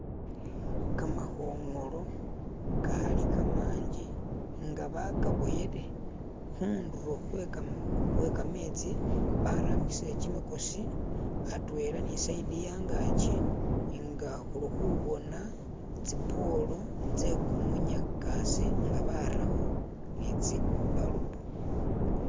kamahongolo kali kama'nji nga bakaboyele khu'nduro hwe ka'metsi bara'mbisire kyi'mikosi a'twela ni sayidi ya'ngakyi nga khu'li khu'boona tsipolo tsekumunyakase nga'baraho ni tsi'balubu